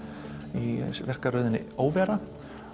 í sýningarröðinni óvera